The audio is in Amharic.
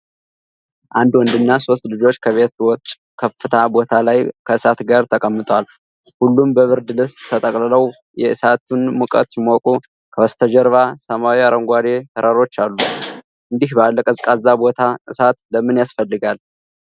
አንድ ወንድና ሦስት ልጆች ከቤት ውጭ ከፍታ ቦታ ላይ ከእሳት ጋር ተቀምጠዋል። ሁሉም በብርድ ልብስ ተጠቅልለው የእሳቱን ሙቀት ሲሞቁ፣ ከበስተጀርባ ሰማያዊና አረንጓዴ ተራሮች አሉ። እንዲህ ባለ ቀዝቃዛ ቦታ እሳት ለምን ያስፈልጋል?